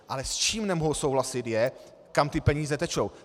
Ale s čím nemohu souhlasit, je, kam ty peníze tečou.